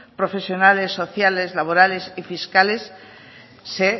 profesionales sociales laborales y fiscales se